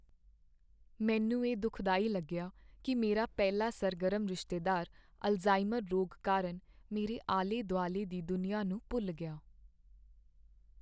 ਮੈਨੂੰ ਇਹ ਦੁਖਦਾਈ ਲੱਗਿਆ ਕੀ ਮੇਰਾ ਪਹਿਲਾਂ ਸਰਗਰਮ ਰਿਸ਼ਤੇਦਾਰ ਅਲਜ਼ਾਈਮਰ ਰੋਗ ਕਾਰਨ ਮੇਰੇ ਆਲੇ ਦੁਆਲੇ ਦੀ ਦੁਨੀਆਂ ਨੂੰ ਭੁੱਲ ਗਿਆ।